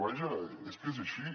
vaja és que és així